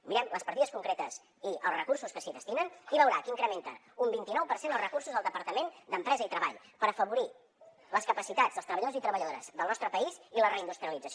mirem les partides concretes i els recursos que s’hi destinen i veurà que incrementen un vint i nou per cent els recursos del departament d’empresa i treball per afavorir les capacitats dels treballadors i treballadores del nostre país i la reindustrialització